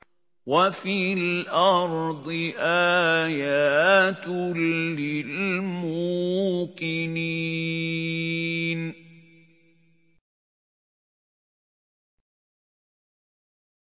وَفِي الْأَرْضِ آيَاتٌ لِّلْمُوقِنِينَ